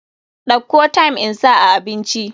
Dauko thyme insa a abinci.